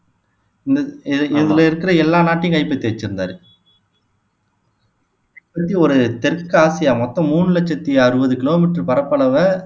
இந்த இ இதுல இருக்கிற எல்லா நாட்டையும் கைப்பற்றி வச்சிருந்தாரு ஒரு தெற்காசியா மொத்தம் மூணு லட்சத்தி அறுவது கிலோ மீட்டர் பரப்பளவை